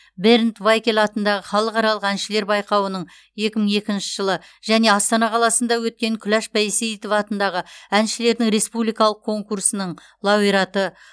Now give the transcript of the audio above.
бернд вайкель атындағы халықаралық әншілер байқауының екі мың екінші жылы және астана қаласынды өткен күләш байсейітова атындағы әншілердің республикалық конкурсының лауреаты